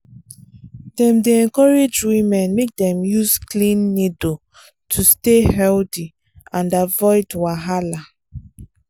dem dey encourage women make dem use clean needle to stay healthy and avoid wahala